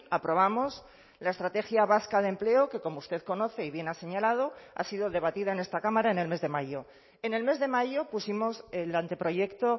aprobamos la estrategia vasca de empleo que como usted conoce y bien ha señalado ha sido debatida en esta cámara en el mes de mayo en el mes de mayo pusimos el anteproyecto